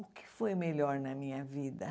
O que foi melhor na minha vida?